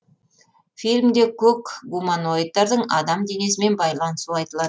фильмде көк гуманоидтардың адам денесімен байланысуы айтылады